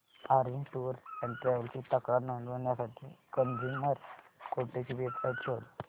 orange tours and travels ची तक्रार नोंदवण्यासाठी कंझ्युमर कोर्ट ची वेब साइट शोध